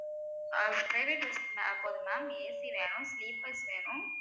அஹ் private bus போதும் ma'amAC வேணும் sleepers வேணும்.